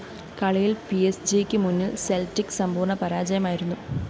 കളിയില്‍ പിഎസ്ജിക്ക് മുന്നില്‍ സെല്‍റ്റിക്ക് സമ്പൂര്‍ണ്ണ പരാജയമായിരുന്നു